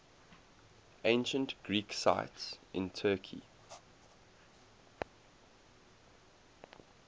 ancient greek sites in turkey